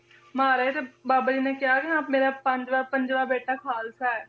ਤੇ ਬਾਬਾ ਜੀ ਨੇ ਕਿਹਾ ਨੀ ਮੇਰਾ ਪੰਜਵਾਂ ਪੰਜਵਾਂ ਬੇਟਾ ਖਾਲਸਾ ਹੈ,